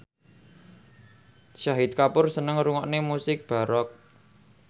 Shahid Kapoor seneng ngrungokne musik baroque